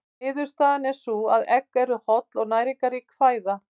Niðurstaðan er sú að egg eru holl og næringarrík fæða.